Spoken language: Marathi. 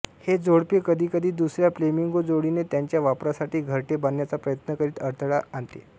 हे जोडपे कधीकधी दुसऱ्या फ्लेमिंगो जोडीने त्यांच्या वापरासाठी घरटे बांधण्याचा प्रयत्न करीत अडथळा आणते